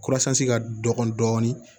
ka dɔgɔ dɔɔnin